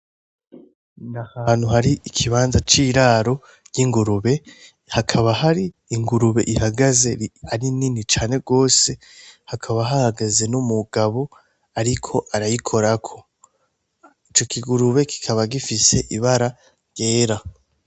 Nahantu harikibanza c'iraro ry'ingurube, akantu ar'ingurube ihagaze ari nni cane gose hakaba hahgaze numuntu ariko aragikorako, ico kigurube kikaba gifise ibara ryera.